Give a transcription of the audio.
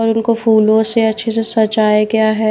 और उनको फूलों से अच्छे से सजाया गया है।